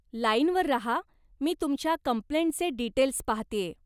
लाईनवर राहा, मी तुमच्या कम्प्लेंटचे डीटेल्स पाहतेय.